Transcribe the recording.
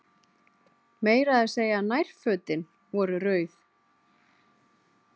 Meira að segja nærfötin voru rauð.